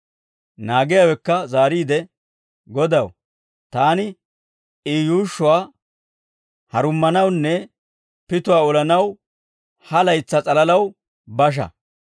Naagiyaawekka zaariide, ‹Godaw, taani I yuushshuwaa harumanawunne pituwaa olanaw, ha laytsaa s'alalaw basha.